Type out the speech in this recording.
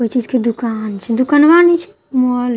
कोई चीज के दुकान छे दुकानवा नहि छै मॉल छे--